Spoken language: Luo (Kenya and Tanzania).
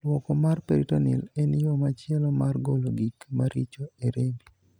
Luoko mar 'peritoneal' en yoo machielo mar golo gik maricho e rembi.